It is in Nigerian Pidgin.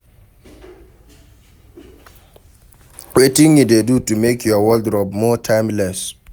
Wetin you dey do to make your wardrobe more timeless?